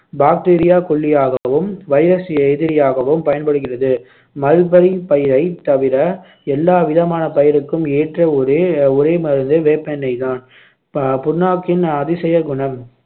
bacteria கொல்லியாகவும் virus எதிரியாகவும் பயன்படுகிறது மல்பரி பயிரைத் தவிர எல்லாவிதமான பயிருக்கும் ஏற்ற ஒரே ஒரே மருந்து வேப்பெண்ணெய்தான் ப~ புண்ணாக்கின் அதிசய குணம்